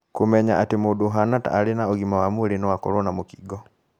Kũmenya atĩ mũndũ ũhana ta arĩ na ũgima wa mwĩrĩ noakorũo na mũkingo